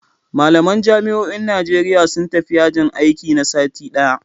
Malaman jami'o'in Najeriya sun tafi yajin aiki na sati ɗaya